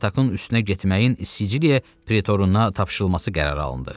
Spartakın üstünə getməyin Siciliya pretoruna tapşırılması qərarı alındı.